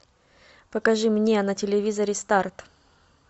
покажи мне на телевизоре старт